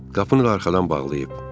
Qapını da arxadan bağlayıb.